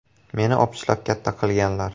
Meni opichlab katta qilganlar.